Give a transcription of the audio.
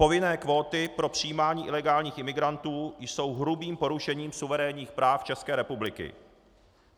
Povinné kvóty pro přijímání ilegální imigrantů jsou hrubým porušením suverénních práv České republiky.